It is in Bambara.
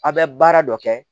A' bɛ baara dɔ kɛ